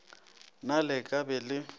na le ka be le